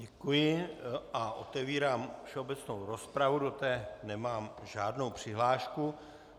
Děkuji a otevírám všeobecnou rozpravu, do které nemám žádnou přihlášku.